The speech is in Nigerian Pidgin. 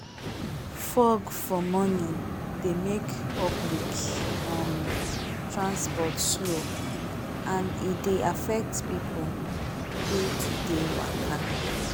fog for morning they make public um transport slow and e dey affect people day to day waka